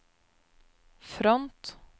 front